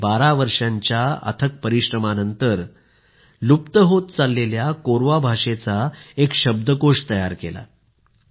त्यांनी 12 वर्षांच्या अथक परिश्रमानंतर विलुप्त होत असलेल्या कोरवा भाषेचा शब्दकोष तयार केला आहे